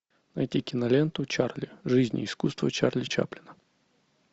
найти киноленту чарли жизнь и искусство чарли чаплина